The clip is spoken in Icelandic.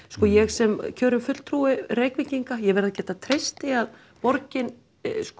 sko ég sem kjörinn fulltrúi Reykvíkinga verð að geta treyst því að borgin